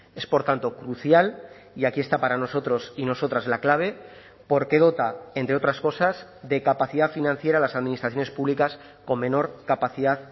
es por tanto crucial y aquí está para nosotros y nosotras la clave porque dota entre otras cosas de capacidad financiera a las administraciones públicas con menor capacidad